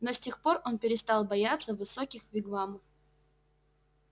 но с тех пор он перестал бояться высоких вигвамов